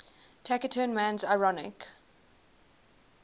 taciturn man's ironic